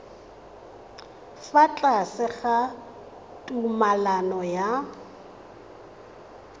fa tlase ga tumalano ya